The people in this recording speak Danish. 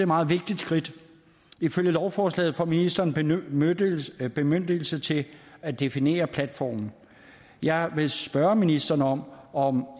meget vigtigt skridt og ifølge lovforslaget får ministeren bemyndigelse bemyndigelse til at definere platformen jeg vil spørge ministeren om om